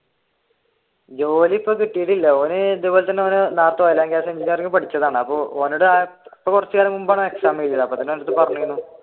ജോലി ഇപ്പൊ കിട്ടിയിട്ടില്ല ഓൻ ഇതുപോലെ തന്നെ